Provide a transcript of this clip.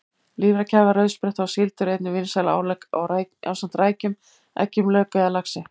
Lifrarkæfa, rauðspretta og síld eru einnig vinsæl álegg ásamt rækjum, eggjum, lauk eða laxi.